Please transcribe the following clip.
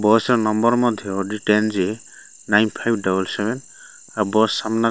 bus ର number ମଧ୍ୟ D ten G nine five double seven ଆଉ ବସ୍ ସାମ୍ନାରେ --